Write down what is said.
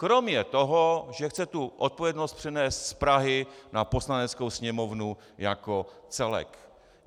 Kromě toho, že chce tu odpovědnost přenést z Prahy na Poslaneckou sněmovnu jako celek.